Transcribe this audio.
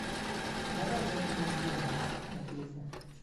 давай закинем деньги на телефон